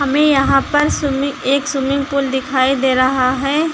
में यहां पर एक स्विमिंग पूल दिखाई दे रहा है।